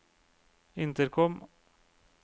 intercom